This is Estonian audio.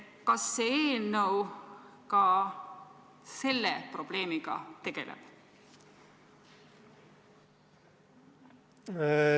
Kas see eelnõu ka selle probleemiga tegeleb?